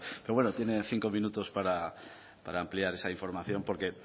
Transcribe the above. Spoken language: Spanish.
pero bueno tiene cinco minutos para ampliar esa información porque